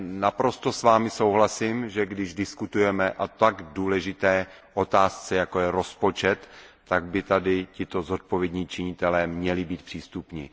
Naprosto s Vámi souhlasím, že když diskutujeme o tak důležité otázce, jako je rozpočet, tak by tady tito zodpovědní činitelé měli být přítomni.